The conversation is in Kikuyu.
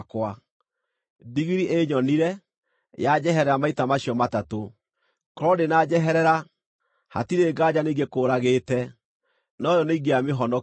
Ndigiri ĩnyonire, yanjeherera maita macio matatũ. Korwo ndĩnanjeherera, hatirĩ nganja nĩingĩgũkũũragĩte, no yo nĩingĩamĩhonokia.”